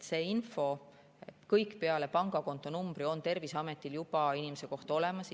Kogu info peale pangakontonumbri on Terviseametil juba inimese kohta olemas.